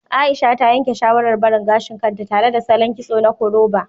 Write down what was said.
Aisha ta yanke shawarar barin gashin kanta tare da salon kitso na koroba